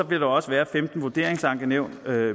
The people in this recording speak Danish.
vil der også være femten vurderingsankenævn